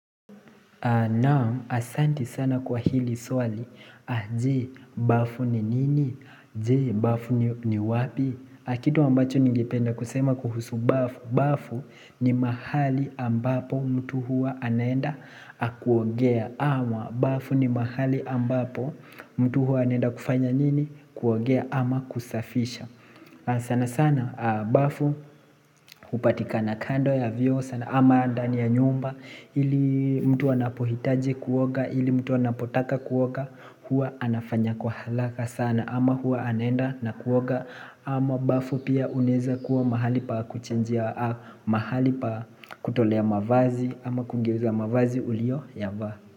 Naam, asanti sana kwa hili swali, je, bafu ni nini? Jee, bafu ni wapi? Kitu ambacho ningependa kusema kuhusu bafu, bafu ni mahali ambapo mtu huwa anaenda kuogea ama bafu ni mahali ambapo mtu huwa anaenda kufanya nini? Kuogea ama kusafisha sana sana bafu hupatikana kando ya vyoo sana ama ndani ya nyumba ili mtu anapohitaji kuoga ili mtu anapotaka kuoga huwa anafanya kwa haraka sana ama huwa anaenda na kuoga ama bafu pia unaeza kuwa mahali pa kuchinjia mahali pa kutolea mavazi ama kugeuza mavazi ulioyavaa.